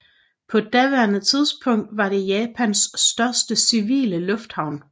På daværende tidspunkt var det Japans største civile lufthavn